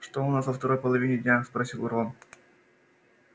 что у нас во второй половине дня спросил рон